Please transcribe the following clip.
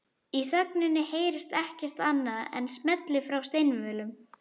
Í þögninni heyrist ekkert annað en smellir frá steinvölum